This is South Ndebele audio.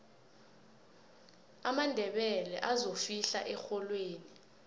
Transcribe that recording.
amandebele azofihla erholweni